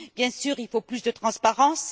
Bien sûr, il faut plus de transparence.